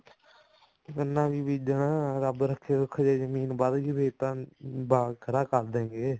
ਗੰਨਾ ਵੀ ਬੀਜਣਾ ਰੱਬ ਰੱਖੇ ਸੁੱਖ ਜੇ ਜਮੀਨ ਵਧਗੀ ਤਾਂ ਬਾਗ ਖੜਾ ਕਰ ਦਵਾਂਗੇ